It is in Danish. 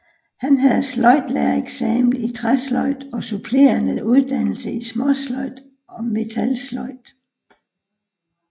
Han havde sløjdlærereksamen i træsløjd og supplerende uddannelse i småsløjd og metalsløjd